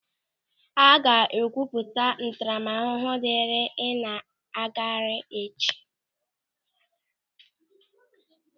A ga-ekwupụta ntaramahụhụ diri ị na-agagharị echi.